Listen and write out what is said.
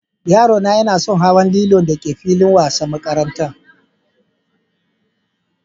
Yaro na yana son hawan lilon da ke filin wasan makarantan.